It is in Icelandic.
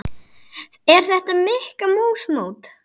Er þetta Mikka mús mót?